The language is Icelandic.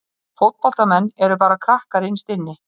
Fótboltamenn eru bara krakkar innst inni.